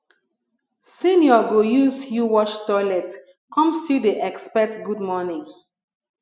senior go use you wash toilet come dey still expect good morning